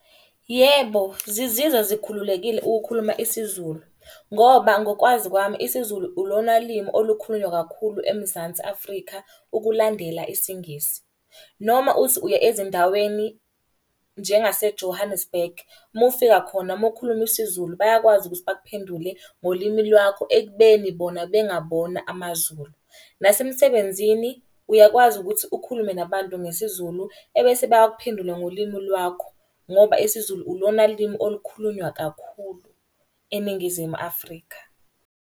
Yebo, zizizwa zikhululekile ukukhuluma isiZulu. Ngoba ngokwazi kwami isiZulu ulona limi olukhulunywa kakhulu eMzansi Afrika ukulandela isiNgisi. Noma uthi uya ezindaweni njengase-Johannesburg, mufika khona. Uma ukhuluma isiZulu bayakwazi ukuthi bakuphendule ngolimi lwakho ekubeni bona bengabona amaZulu. Nasemsebenzini uyakwazi ukuthi ukhulume nabantu ngesiZulu ebese bayakuphendula ngolimu lwakho. Ngoba isiZulu ulona limi olukhulunywa kakhulu eNingizimu Afrika.